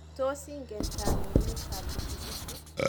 Tos ingen tanunet ab pikipiki?